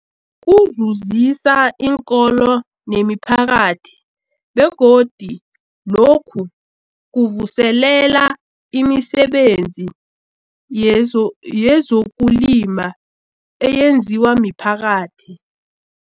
Kuzuzisa iinkolo nemiphakathi begodu lokhu kuvuselela imisebenzi yezo yezokulima eyenziwa miphakathi.